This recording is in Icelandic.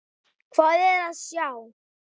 Hvað er að sjá